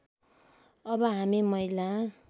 अब हामी महिला